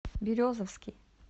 березовский